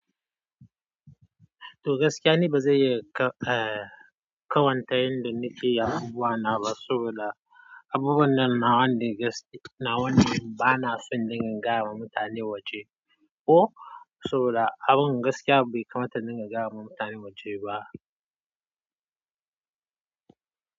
To gaskiya ne, ba zan iya ka- eh, kamanta yanda naƙeyin abubwa na ba saboda abubuwan da nawan din gaskiya, na wan ba na so in dinga gaya wa mutane waje ko saboda abin gaskiya bai kamata in dinga gaya wa mutanen waje ba.